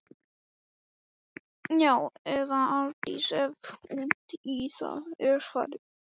Já- eða Arndís, ef út í það er farið.